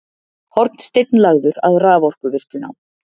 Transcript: Hornsteinn lagður að raforkuvirkjun á